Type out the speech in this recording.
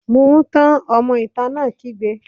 Mu ún tán! Ọmọ ìta náà kígbe.